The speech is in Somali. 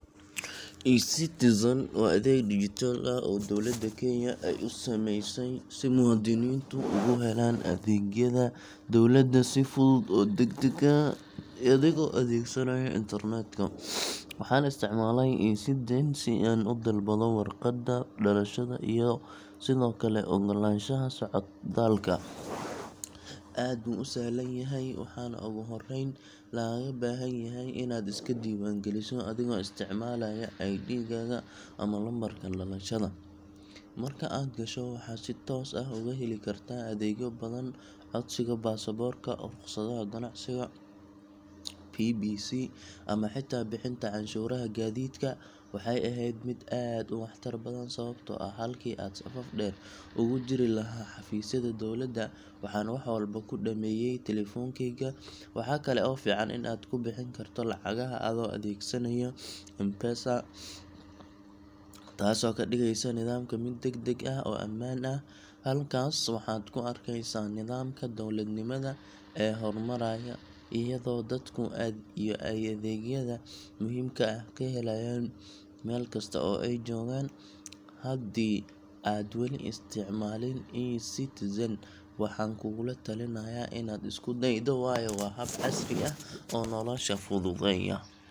e-Citizen waa adeeg dijitaal ah oo dowladda Kenya ay u samaysay si muwaadiniintu uga helaan adeegyada dowladda si fudud oo degdeg ah, adigoo adeegsanaya internetka. Waxaan isticmaalay e-Citizen si aan u dalbado warqadda dhalashada iyo sidoo kale oggolaanshaha socdaalka. Aad buu u sahlan yahay, waxaana ugu horreyn lagaaga baahan yahay inaad iska diiwaangeliso adigoo isticmaalaya ID gaaga ama lambarka dhalashada. Marka aad gasho, waxaad si sida codsiga baasaboorka, rukhsadda ganacsiga, PBC, ama xitaa bixinta cashuuraha gaadiidka. Waxay ahayd mid aad u waxtar badan, sababtoo ah halkii aan safaf dheer ugu jirilahaa xafiisyada dowladda, waxaan wax walba ku dhammeeyay telefoonkeyga. Waxaa kale oo fiican in aad ku bixin karto lacagaha adoo adeegsanaya M-Pesa, taasoo ka dhigeysa nidaamka mid degdeg ah oo ammaan ah. Halkaas waxaad ku arkeysaa nidaamka dowladnimada ee horumaraya, iyadoo dadku ay adeegyada muhiimka ah ka helayaan meel kasta oo ay joogaan. Haddii aad wali isticmaalin e-Citizen, waxaan kugula talinayaa inaad isku daydo, waayo waa hab casri ah oo nolosha fududeeya.